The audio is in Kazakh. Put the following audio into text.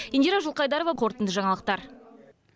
индира жылқайдарова қорытынды жаңалықтар